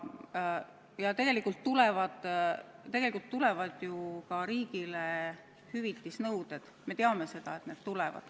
Ja tegelikult tulevad ju ka riigile hüvitisenõuded – me teame, et need tulevad.